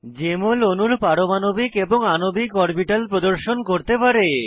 JML অণুর পারমাণবিক এবং আণবিক অরবিটাল প্রদর্শন করতে পারে